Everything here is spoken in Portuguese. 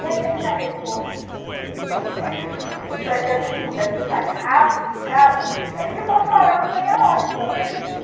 E aí ao invés dele correr e se vestir para que a gente pudesse sair rápido de casa, ele ficou chorando meia hora em cima da beliche.